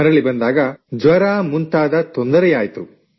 ಮರಳಿ ಬಂದಾಗ ಜ್ವರ ಮುಂತಾದ ತೊಂದರೆಯಾಯ್ತು